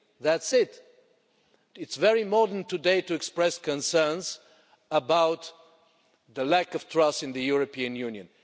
That's it. It's very modern today to express concerns about the lack of trust in the European Union.